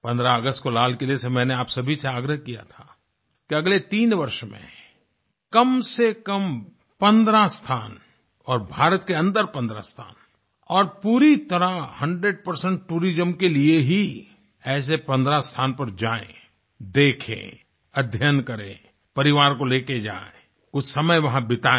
15 अगस्त को लाल किले से मैंने आप सभी से आग्रह किया था कि अगले 3 वर्ष में कमसेकम 15 स्थान और भारत के अन्दर 15 स्थान और पूरी तरह 100 टूरिज्म के लिए ही ऐसे 15 स्थान पर जाएं देखें अध्य्यन करें परिवार को लेकर जाएं कुछ समय वहाँ बिताएं